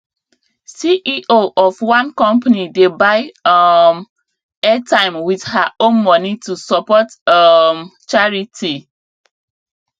ceo of one company dey buy um airtime with her own money to support um charity